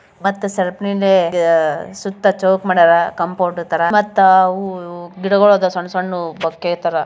ಮತ್ತಾ ಸರ್ಪಣೀಲಿ ಆ-ಸುತ್ತ ಚೋಕ್ ಮಾಡ್ಯಾರಾ ಕಾಂಪೌಂಡ್ ತರ ಮತ್ತ ಅವೂ ಇವೂ ಗಿಡಗಳ್ ಅದಾವ್ ಸಣ್ಣ ಸಣ್ಣವೂ ಬಕ್ಕೇ ತರ.